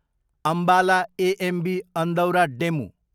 Ambala AMB Andaura DEMU